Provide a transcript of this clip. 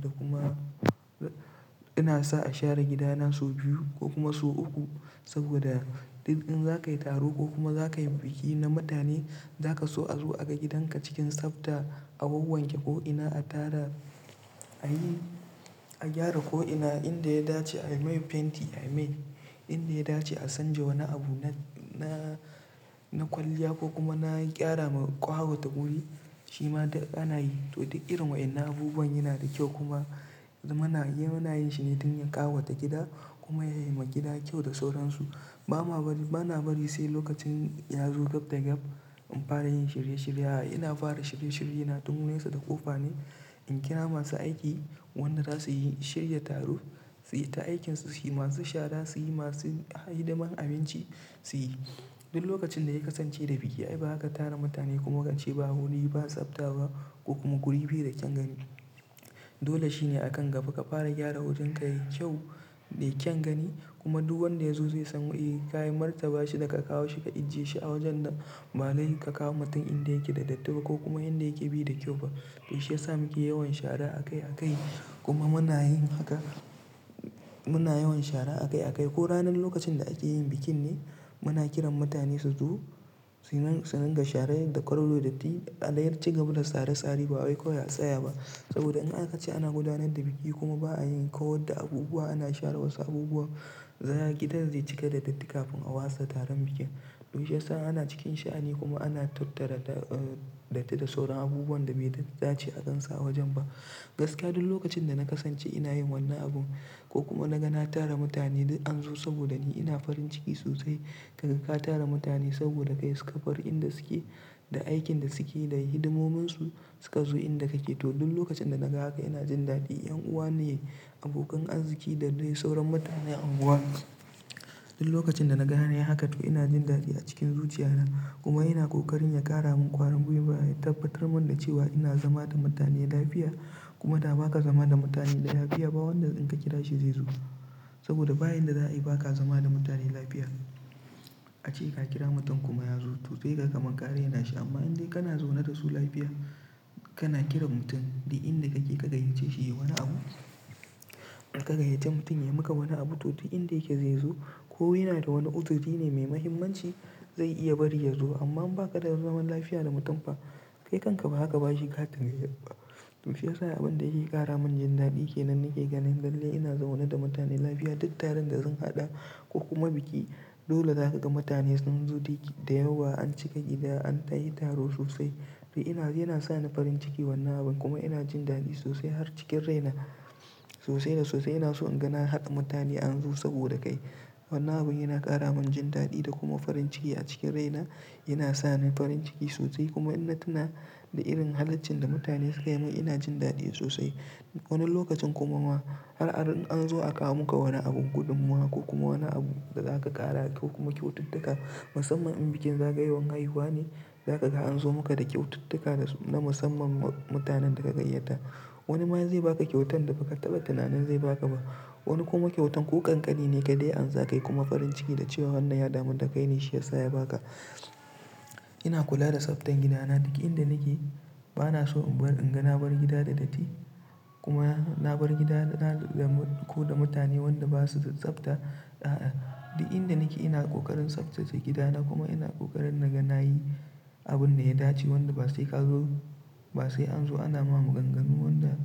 Ko kuma ina sa a share gida na sau biyu ko sau uku. Saboda duk in za ka yi taro ko kuma za ka yi biki na mutane, za ka so a zo a ga gidanka cikin tsafta, a wanke ko ina, a gyara ko ina, inda ya dace a yi mai fenti, a yi mai. Inda ya dace a canja wani abu na kwalliya ko kuma na ƙara ma ƙawata wuri, shi ma duk ana yi. To duk irin waɗannan abubuwan yana da kyau kuma muna yin shi ne don ya ƙawata gida kuma ya yi ma gida kyau da sauransu. Ba na bari sai lokacin ya zo gab da gab in fara yin shirye shirye. A'a, ina fara shirye shirye na tun wurin sa da ƙofa ne in kira masu aiki wanda zasu yi shirya taro su yi ta aikin su, suyi masu shara su yi, masu hidimar abinci suyi. Duk lokacin da ya kasance da biki ai bazaka tara mutane kuma kace ba wuri ba tsafta ba ko kuma guri bai da kyaun gani. Dole shi ne a kan gaba ka fara gyara wajenka yayi kyau da kyan gani kuma duk wanda ya zo zai san eh ka martaba shi da ka kawo shi ka ajiye shi a wajen da ba dai ka kawo mutum inda yake da datti ba ko kuma inda yake bai da kyau ba. To shiyasa muke yawan shara akai akai, kuma muna yin hakan, muna yawan shara akai akai ko ranar lokacin da ake yin bikin be muna kiran mutane su zo su dinga shara yadda ko wani datti, a dai ci gaba da tsare tsare ba wai kawai a tsaya ba saboda in aka ce ana gudanar da biki kuma ba ayin kawar da abubuwa ba, a share abubuwa gidan zai cika da datti kafin agudanar da bikin. Toshi ya sa ana cikin sha'ani kuma ana tattara datti da sauran abubuwan da bai dace a gan su a wajen ba. Gaskiya duk lokacin da na kasance ina yin wannan abun ko kuma na ga na tara mutane an zo saboda ni ina farin ciki sosai. Kaga ka tara mutane saboda kai suka bar inda suke da aikin da suke da hidimominsu suka zo inda kake. To duk lokacin da naga haka ina jin dadi. 'Yan uwa ne, abokan arziki da dai sauran mutanen unguwa. Duk lokacin da naga an yi haka to ina jin dadi a cikin zuciya na kuma ina ƙoƙarin ya ƙara mun ƙwarin gwiwa, ya tabbatar mun da cewa ina zama da mutane lafiya. Kuma da ba ka zama da mutane lafiya ba wanda in ka kira shi zai zo. Saboda bayan da za a yi ba ka zama da mutane lafiya. Ace ka kira mutum kuma ya zo zai ga kamar ka rena shi. To amma inde kana zaune da su lafiya kana kiran mutum duk inda kake ka gayyace shi ya yi wani abu. Ka gayyace mutum yayi maka wani abu, to duk inda yake zai zo ko yana da wani abune mai muhimmanci. Zai iya bari ya zo amma in baka da zaman lfy da mutum fa kai kanka baza ka bashi katin gayyatan ba. Toshe ya sa abin da yake ƙara mun jin dadi ke nan nake ganin dallin ina zaune da mutane lafiya duk taron da zan haɗa ko kuma biki. Dole za ka ga mutane sun zo da yawa an cika gida an tashi taro sosai. Yana sa ni farin ciki wannan abun kuma ina jin dadi sosai har cikin raina sosai da sosai ina so in ga na hada mutane an zo saboda kai. Wannan abun yana ƙara mun jin dadi da kuma farin ciki a cikin raina. Yana sa ni farin ciki sosai kuma in na tuna da irin halaccin da mutane suka yi mun ina jin dadi sosai. Wani lokacin kuma ma har an zo akawo muka wani abun gudunmawa ko kuma wani abu da za ka ƙara ko kuma kyaututtuka. Musamman in bikin zagayowar haihuwa ne za ka ga an zo maka da kyaututtuka na musamman ma mutanen da ka gayyata. Wani ma zai ba ka kyautan da ba ka taɓa tunanin zai ba ka ba. Wani kuma kyauta ko kankani ka dai ansa kayi farin ciki wannan ya damu da kai ne shi yasa yabaka. Ina kula da tsaftan gidana duk inda nake. Ba na so in bar in ga na bar gida da datti kuma na bar gida ko da mutane waɗanda ba su da tsafta. A'a, duk inda nake ina ƙoƙarin tsaftace gidana kuma ina ƙoƙarin na ga na yi abun da ya dace. Wanda ba sai ka zo ba sai an zo ana ma maganganu wanda